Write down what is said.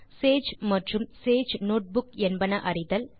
Sage மற்றும் Sage notebook என்பன அறிதல்